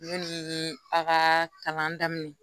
Yanni a ka kalan daminɛ